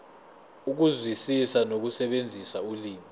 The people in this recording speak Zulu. ukuzwisisa nokusebenzisa ulimi